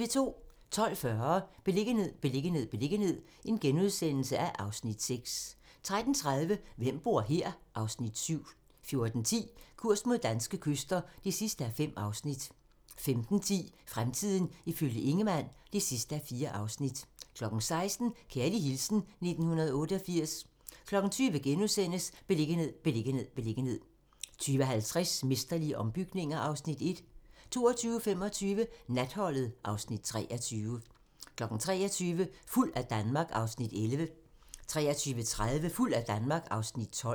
12:40: Beliggenhed, beliggenhed, beliggenhed (Afs. 6)* 13:30: Hvem bor her? (Afs. 7) 14:10: Kurs mod danske kyster (5:5) 15:10: Fremtiden ifølge Ingemann (4:4) 16:00: Kærlig hilsen 1988 20:00: Beliggenhed, beliggenhed, beliggenhed * 20:50: Mesterlige ombygninger (Afs. 1) 22:25: Natholdet (Afs. 23) 23:00: Fuld af Danmark (Afs. 11) 23:30: Fuld af Danmark (Afs. 12)